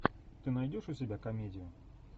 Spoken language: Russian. ты найдешь у себя комедию